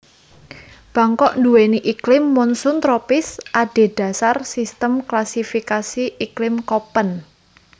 Bangkok nduwèni iklim monsoon tropis adhedhasar sistem klasifikasi iklim Koppen